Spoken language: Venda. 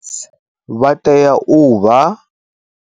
Vha tea u vha.